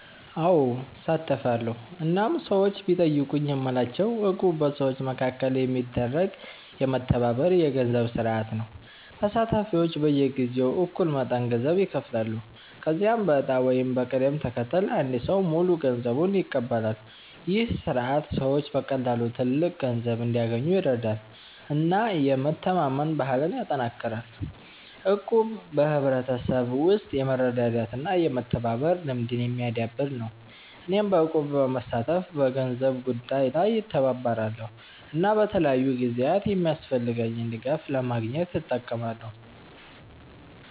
አዎ፣ እሳተፋለሁ እናም ሰዎች ቢጠይቁኝ የምላቸው እቁብ በሰዎች መካከል የሚደረግ የመተባበር የገንዘብ ስርዓት ነው። ተሳታፊዎች በየጊዜው እኩል መጠን ገንዘብ ይከፍላሉ፣ ከዚያም በዕጣ ወይም በቅደም ተከተል አንድ ሰው ሙሉ ገንዘቡን ይቀበላል። ይህ ስርዓት ሰዎች በቀላሉ ትልቅ ገንዘብ እንዲያገኙ ይረዳል እና የመተማመን ባህልን ያጠናክራል። እቁብ በሕብረተሰብ ውስጥ የመረዳዳት እና የመተባበር ልምድን የሚያዳብር ነው። እኔም በእቁብ በመሳተፍ በገንዘብ ጉዳይ ላይ እተባበራለሁ እና በተለያዩ ጊዜያት የሚያስፈልገኝን ድጋፍ ለማግኘት እጠቀማለሁ።